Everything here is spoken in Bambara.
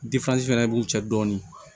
fana b'u cɛ dɔɔnin